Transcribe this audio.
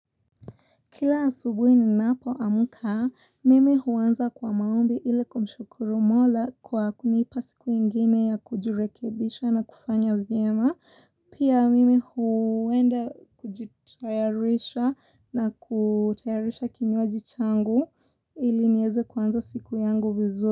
Kila asubuhi ni napo amka mimi huanza kwa maombi ili kumshukuru mola kwa kunipa siku ingine ya kujirekebisha na kufanya vyema Pia mimi huenda kujitayarisha na kutayarisha kinywaji changu ili nieze kwanza siku yangu vizuri.